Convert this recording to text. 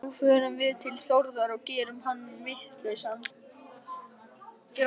Nú förum við til Þórðar og gerum hann vitlausan.